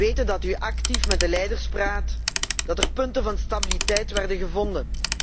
We weten dat u actief met de leiders praat, dat er punten van stabiliteit zijn gevonden.